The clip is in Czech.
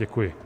Děkuji.